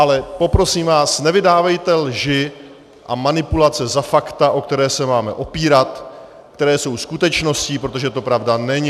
Ale poprosím vás, nevydávejte lži a manipulace za fakta, o která se máme opírat, která jsou skutečností, protože to pravda není.